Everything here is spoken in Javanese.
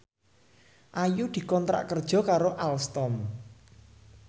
Ayu dikontrak kerja karo Alstom